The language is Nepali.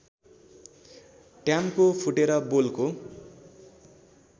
टयाम्को फुटेर बोलको